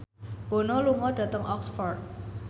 Bono lunga dhateng Oxford